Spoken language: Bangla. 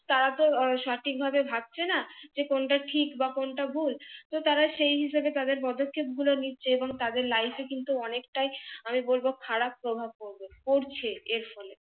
তারা তো সঠিক ভাবে ভাবছে না যে কোনটা ঠিক বা কোনটা ভুল তো তারা সেই হিসাবে তাদের পদক্ষেপ গুলো নিচ্ছে এবং তাদের life এ কিন্তু অনেকটাই আমি বলবো খারাপ প্রভাব পড়বে পড়ছে এর ফলে